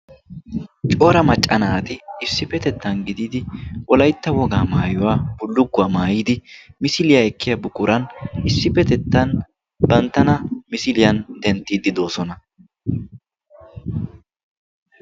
Cora macca naati issippetettan gididi wolaitta wogaa maayuwaa bullugguwaa maayidi misiliyaa ekkiya bukuran issippetettan panttana misiliyan denttiiddi doosona.